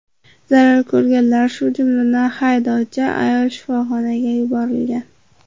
Zarar ko‘rganlar, shu jumladan, haydovchi ayol shifoxonaga yuborilgan.